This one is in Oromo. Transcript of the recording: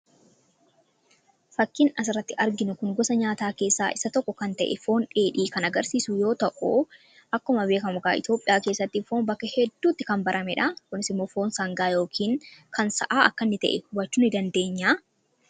Fakiin as irratti arginu kun gosa nyaataa keessaa isa tokko kan ta'e foon dheedhii kan agarsiisu yoo ta'u akkuma beekamugaa Itoophiyaa keessatti foon bakka hedduutti kan baramedha. akkasumas immoo foon sangaa yookiin kan sa'aa akka inni ta'e daawwachuu ni dandeenya.